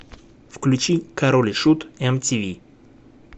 включи король и шут эмтиви